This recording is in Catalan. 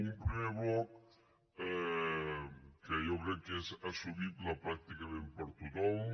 un primer bloc que jo crec que és assumible pràcticament per tothom